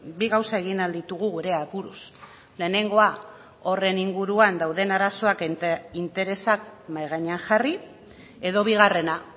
bi gauza egin ahal ditugu gure aburuz lehenengoa horren inguruan dauden arazoak eta interesak mahai gainean jarri edo bigarrena